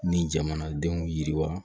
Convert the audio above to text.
Ni jamanadenw yiriwa